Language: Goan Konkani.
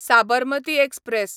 साबरमती एक्सप्रॅस